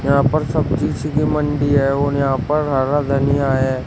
यहां पर सब्जी सी की मंडी है और यहां पर हरा धनिया है।